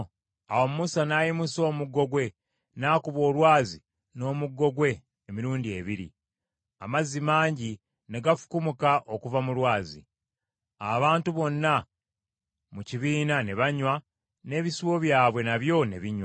Awo Musa n’ayimusa omukono gwe n’akuba olwazi n’omuggo gwe emirundi ebiri. Amazzi mangi ne gafukumuka okuva mu lwazi, abantu bonna mu kibiina ne banywa, n’ebisibo byabwe nabyo ne binywa.